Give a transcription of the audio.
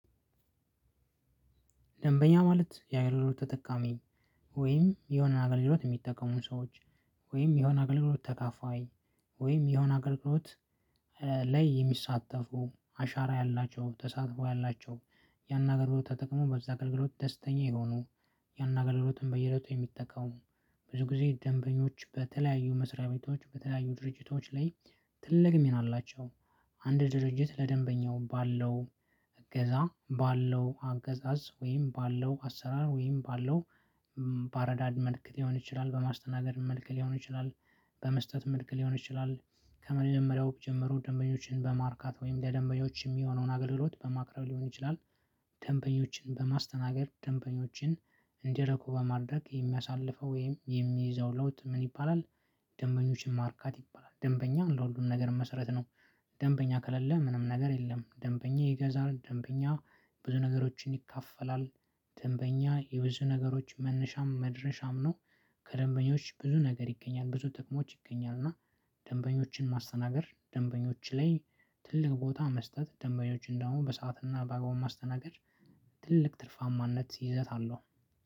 ደንበኛ ማለት የአይርሮ ተጠቃሚ ወይም የሆነ አገልግሎት የሚጠቀሙ ሰዎች ወይም የሆነ አገልግሎት ተካፋይ ወይም የሆነ አገልግሎት ላይ የሚሳተፉ አሻራ ያላቸው ተሳትፎ ያላቸው ያን አገልግሎት ተጠቅመው በዚያ አገልግሎት ደስተኛ የሆኑ ያን አገለግሎትን በየእለቱ የሚጠቀሙ ብዙ ጊዜ ደንበኞች በተለያዩ መስሪያ ቤቶች በተለያዩ ድርጅቶች ላይ ትልቅ ሚና አላቸው። አንድ ድርጅት ለደንበኛው በአለው እገዛ በአለው አገዛዝ ወይም በአለው አሰራር ወይም በአለው በአረዳድ መልክ ሊሆን ይችላል በማስተናገድ መልክ ሊሆን ይችላል በመስጠት መልክ ሊሆን ይችላል ከመጀመሪያው ጀምሮ ደንበኞችን በማርካት ወይም ለደንበኞች የሚሆነውን አገልግሎት በማቅረብ ሊሆን ይችላል። ደንበኞችን በማስተናገድ ደንበኞችን እንዲረኩ በማድረግ የሚያሳልፈው ወይም የሚይዘው ለውጥ ምን ይባላል? ደንበኞችን ማርካት ይባላል ደንበኛ ለሁሉም ነገር መሰረት ነው። ደንበኛ ከሌለ ምንም ነገር የለም። ደንበኛ ይገዛል ደንበኛ ብዙ ነገሮችን ይካፈላል። ደንበኛ የብዙ ነገሮች መነሻም መድረሻም ነው። ከደንበኞች ብዙ ነገር ይገኛል ብዙ ጥቅሞች ይገኛል እና። ደንበኞችን ማስተናገድ ደንበኞች ላይ ትልቅ ቦታ መስጠት ደንበኞችን ደግሞ በሰአትና በአግባቡ ማስተናገድ ትልቅ ትርፋማነት ይዘት አለው።